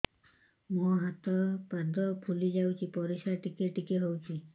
ମୁହଁ ହାତ ପାଦ ଫୁଲି ଯାଉଛି ପରିସ୍ରା ଟିକେ ଟିକେ ହଉଛି